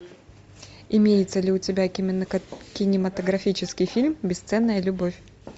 имеется ли у тебя кинематографический фильм бесценная любовь